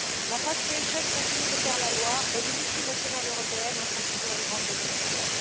La Fast Fashion continue de faire la loi et les multinationales européennes en sont toujours les grandes bénéficiaires.